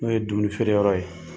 N'o ye dumuni feere yɔrɔ ye.